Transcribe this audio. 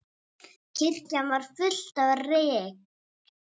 Kirkjan var full af reyk.